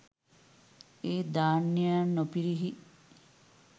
ඒ ධ්‍යානයන් නො පිරිහි